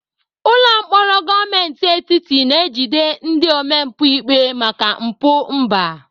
Ụlọ mkpọrọ gọọmenti etiti na-ejide ndị omempụ ikpe maka mpụ mba.